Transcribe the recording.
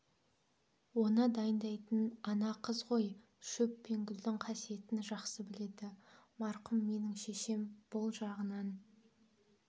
оны дайындайтын ана қыз ғой шөп пен гүлдің қасиетін жақсы біледі марқұм менің шешем бұл жағынан